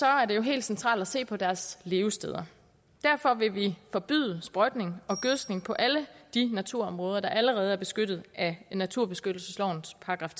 er det jo helt centralt at se på deres levesteder derfor vil vi forbyde sprøjtning og gødskning på alle de naturområder der allerede er beskyttet af naturbeskyttelseslovens §